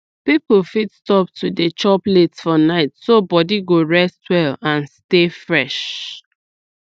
people fit stop to dey chop late for night so body go rest well and stay fresh